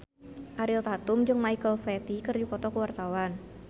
Ariel Tatum jeung Michael Flatley keur dipoto ku wartawan